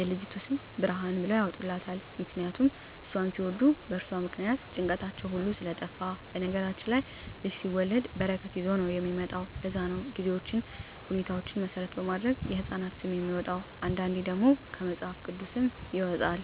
የልጅቱ ስም ብርሃን ብለዉ ያወጡላታል ምክንያቱም እሷን ሲወልዱ በእርሷ ምክንያት ጭንቀታቸዉ ሁሉ ስለጠፍ በነገራችን ላይ ልጅ ሲወለድ በረከት ይዞ ነዉ የሚመጣዉ ለዛ ነዉ ጊዜዎችን ሁኔታዎች መሰረት በማድረግ የህፃናት ስም የሚወጣዉ አንዳንዴ ደግሞ ከመፅሀፍ ቅዱስም ይወጣል